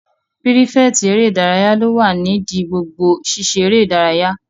Pírífẹ̀tì eré ìdárayá ló wà nídi gbogbo sisé eré ìdárayá